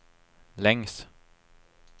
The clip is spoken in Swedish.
längs